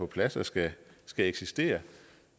plads og skal eksistere